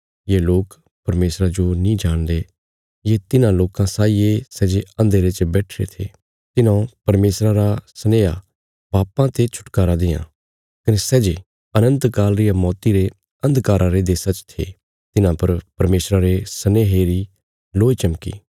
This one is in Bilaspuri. ये लोक परमेशरा जो नीं जाणदे ये तिन्हां लोकां साई ये सै जे अन्धेरे च बैठिरे थे तिन्हौं परमेशरा रा सनेहा पापां ते छुटकारा देआं कने सै जे अनन्त काल रिया मौती रे अन्धकारा रे देशा च थे तिन्हां पर परमेशरा रे सनेहे री लोय चमकी